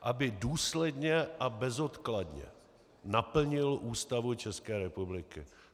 Aby důsledně a bezodkladně naplnil Ústavu České republiky.